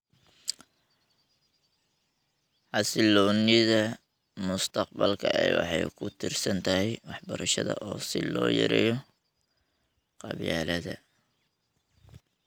Xasiloonida mustaqbalka ee waxay ku tiirsan tahay waxbarashada si loo yareeyo qabyaaladda.